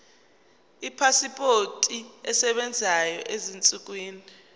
ipasipoti esebenzayo ezinsukwini